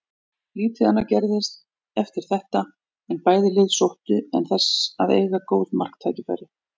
Lítið annað gerðist eftir þetta en bæði lið sóttu en þess að eiga góð marktækifæri.